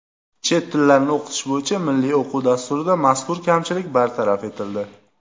Chet tillarni o‘qitish bo‘yicha Milliy o‘quv dasturida mazkur kamchilik bartaraf etildi.